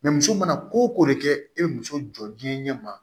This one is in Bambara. muso mana ko ko de kɛ e bɛ muso jɔ diɲɛ ɲɛma